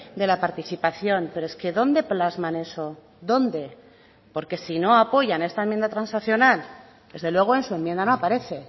de la participación pero es que dónde plasman eso dónde porque si no apoyan esta enmienda transaccional desde luego en su enmienda no aparece